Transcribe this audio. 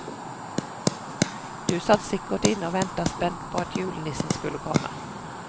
Du satt sikkert inne og ventet spent på at julenissen skulle komme.